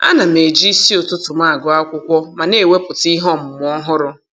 Ana m eji isi ụtụtụ m agụ akwụkwọ ma na-ewepụta ihe ọmụmụ ọhụrụ.